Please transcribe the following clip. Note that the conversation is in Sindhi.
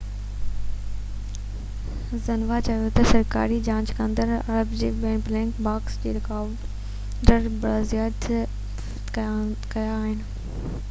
زنهوا چيو ته سرڪاري جاچ ڪندڙن اربع تي ٻه ’بليڪ باڪس‘ رڪارڊر بازيافت ڪيا آهن